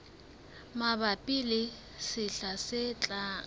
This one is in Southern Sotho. mabapi le sehla se tlang